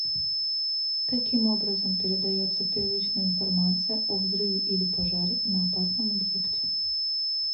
каким образом передается первичная информация о взрыве или пожаре на опасном объекте